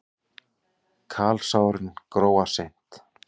Kalsárin gróa seint.